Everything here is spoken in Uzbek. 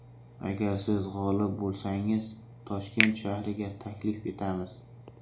Agar siz g‘olib bo‘lsangiz Toshkent shahriga taklif etamiz.